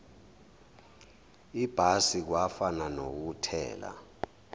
ibhasi kwafana nokuthela